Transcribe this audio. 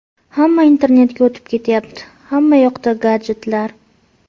Hamma internetga o‘tib ketayapti, hammayoqda gadjetlar.